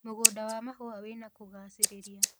mũgũnda wa mahũa wina kũguciriria